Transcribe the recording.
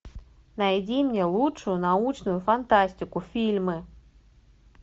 найди мне лучшую научную фантастику фильмы